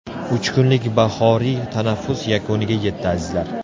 Uch kunlik bahoriy tanaffus yakuniga yetdi, azizlar.